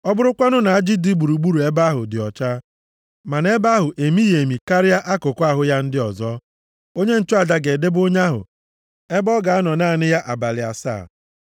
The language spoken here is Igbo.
Ọ bụrụkwanụ na ajị dị gburugburu ebe ahụ dị ọcha, ma na ebe ahụ emighị emi karịa akụkụ ahụ ya ndị ọzọ, onye nchụaja ga-edebe onye ahụ ebe ọ ga-anọ naanị ya abalị asaa.